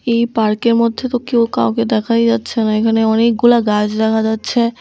এই পার্কের মধ্যে তো কেউ কাউকে দেখাই যাচ্ছে না এখানে অনেকগুলা গাছ দেখা যাচ্ছে।